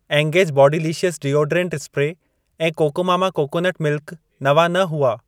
Engage bodylicious deodorant spray ऐं cocomama coconut milk नवां न हुआ।